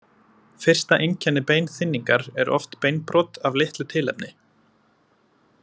Fyrsta einkenni beinþynningar er oft beinbrot af litlu tilefni.